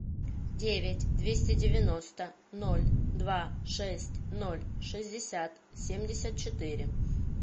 девять двести девяносто ноль два шесть ноль шестьдесят семьдесят четыре